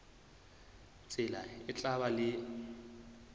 tsela e tla ba le